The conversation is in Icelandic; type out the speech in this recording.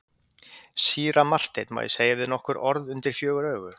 Síra Marteinn, má ég segja við þig nokkur orð undir fjögur augu?